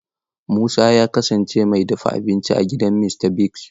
Musa ya kasance mai dafa abinci a gidan Mista Bigs.